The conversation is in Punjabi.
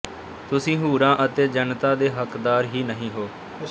ਤੁਸੀਂ ਹੂਰਾਂ ਅਤੇ ਜੰਨਤਾਂ ਦੇ ਹਕ਼ਦਾਰ ਹੀ ਨਹੀਂ ਹੋ